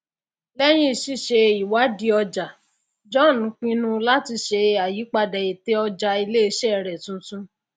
lẹyìn ṣíṣe ìwádìí ọjà john pinnu láti ṣe àyípadà ète ọjà iléiṣẹ rẹ tuntun